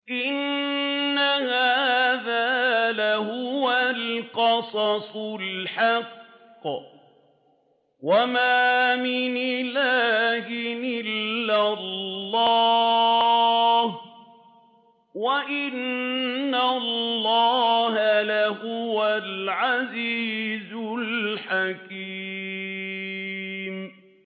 إِنَّ هَٰذَا لَهُوَ الْقَصَصُ الْحَقُّ ۚ وَمَا مِنْ إِلَٰهٍ إِلَّا اللَّهُ ۚ وَإِنَّ اللَّهَ لَهُوَ الْعَزِيزُ الْحَكِيمُ